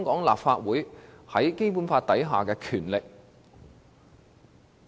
立法會又如何根據《基本法》行使權力呢？